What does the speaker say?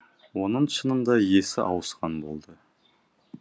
оның шынында есі ауысқан болды